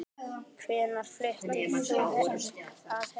Hvenær fluttir þú að heiman?